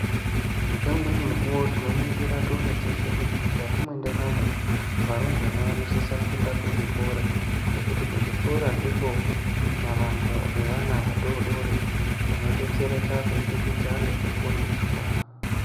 Ngeimweni mukuwo tinoningira toona teshe kuti mukati mwendaramo varumbwana vanodisa kuenda kuzvikora nekuti kuzvikora ndikwo mavambo evana vadodori anodetsereka kubudikidza ngekufundiswa.